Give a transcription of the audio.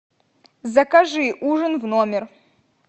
закажи ужин в номер